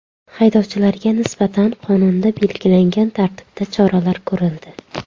Haydovchilarga nisbatan qonunda belgilangan tartibda choralar ko‘rildi.